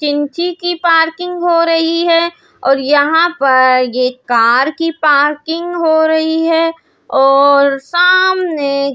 चिंची की पार्किंग हो रही है और यहां पर ये कार की पार्किंग हो रही है और सामने --